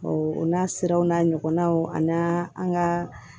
o n'a siraw n'a ɲɔgɔnnaw ani an ka